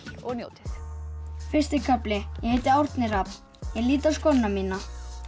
og njótið fyrsti kafli ég heiti Árni Hrafn ég lít á skóna mína